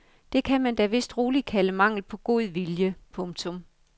Det kan man da vist roligt kalde mangel på god vilje. punktum